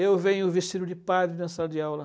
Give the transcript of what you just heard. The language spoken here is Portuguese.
Eu venho vestido de padre na sala de aula.